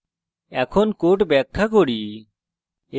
এখন code ব্যাখ্যা করি